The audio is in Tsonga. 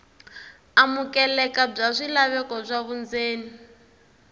amukeleka bya swilaveko swa vundzeni